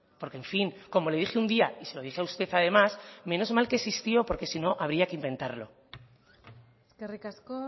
porque en fin como le dije un día y se lo dije a usted además menos mal que existió porque si no habría que inventarlo eskerrik asko